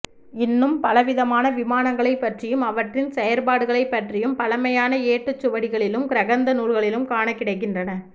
இன்னும் பலவிதமான விமானங்களைப் பற்றியும் அவற்றின் செயல்பாடுகளைப் பற்றியும் பழமையான ஏட்டுச் சுவடிகளிலும் கிரகந்த நூல்களிலும் காணக் கிடைக்கின்றன